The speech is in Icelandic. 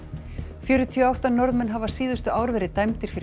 fjörutíu og átta Norðmenn hafa síðustu ár verið dæmdir fyrir